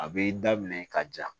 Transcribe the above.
A bɛ daminɛ ka ja